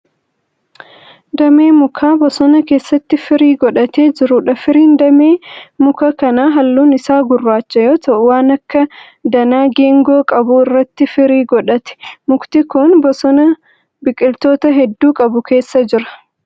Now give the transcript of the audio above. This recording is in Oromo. Damee mukaa bosona keessatti firii godhatee jiruudha. Firiin damee muka kanaa halluun isaa gurraacha yoo ta'u waan akka danaa geengoo qabu irratti firii godhate. Mukti kun bosona biqiloota hedduu qabu keessa jira.